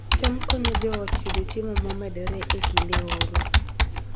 cham konyo joot yudo chiemo momedore e kinde oro